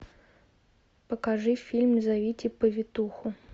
покажи фильм зовите повитуху